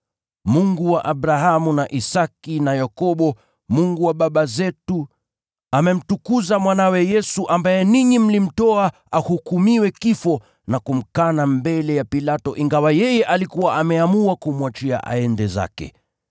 Mungu wa Abrahamu na Isaki na Yakobo, Mungu wa baba zetu amemtukuza Mwanawe Yesu, ambaye ninyi mlimtoa ahukumiwe kifo na mkamkana mbele ya Pilato, ingawa yeye alikuwa ameamua kumwachia aende zake.